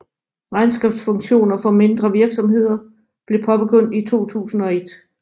Regnskabsfunktioner for mindre virksomheder blev påbegyndt i 2001